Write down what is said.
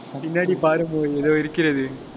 பின்னாடி பாருங்கோ, ஏதோ இருக்கிறது